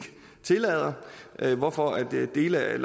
tillader hvorfor dele af